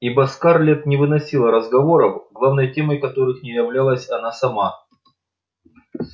ибо скарлетт не выносила разговоров главной темой которых не являлась она сама